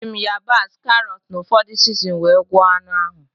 E ji m yabasị, karọt, na ụfọdụ sizinin wee gwoko anụ ahụ